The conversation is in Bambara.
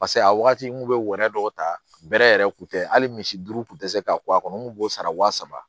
Paseke a wagati n kun be wɔyɔ dɔw ta bɛrɛ yɛrɛ kun tɛ hali misi duuru kun tɛ se ka kɔ a kɔnɔ n kun b'o sara wa saba